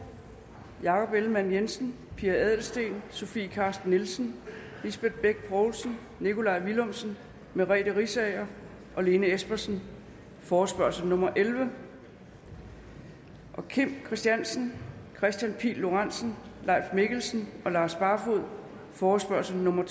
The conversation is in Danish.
jakob ellemann jensen pia adelsteen sofie carsten nielsen lisbeth bech poulsen nikolaj villumsen merete riisager og lene espersen forespørgsel nummer f elleve kim christiansen kristian pihl lorentzen leif mikkelsen og lars barfoed forespørgsel nummer